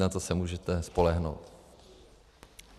Na to se můžete spolehnout.